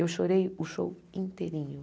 Eu chorei o show inteirinho.